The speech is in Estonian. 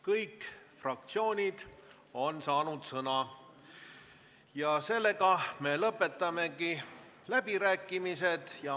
Kõik fraktsioonid on sõna saanud ja me lõpetame läbirääkimised.